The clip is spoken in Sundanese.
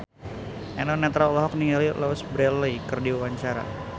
Eno Netral olohok ningali Louise Brealey keur diwawancara